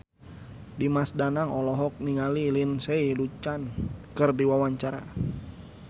Dimas Danang olohok ningali Lindsay Ducan keur diwawancara